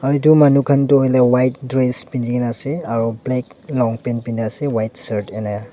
edu manu khan toh hoilae white dress pinikaena ase aro black long pant piniase white --